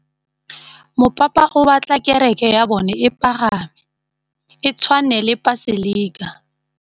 Mopapa o batla kereke ya bone e pagame, e tshwane le paselika.